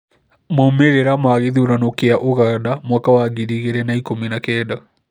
Maumĩrĩra ma gĩthurano kĩa ũganda mwaka wa ngiri igĩrĩ na ikũmi na kenda